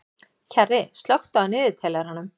Kjarri, slökktu á niðurteljaranum.